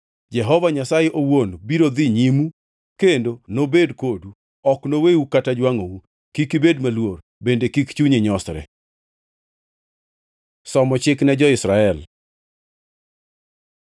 Jehova Nyasaye owuon biro dhi nyimu kendo nobed kodu, ok noweu kata jwangʼou. Kik ubed maluor, bende kik chuny nyosre.” Somo chik ne jo-Israel